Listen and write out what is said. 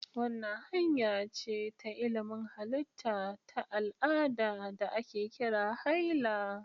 Wannan hanya ce ta ilimin halitta ta al'ada da ake kira haila.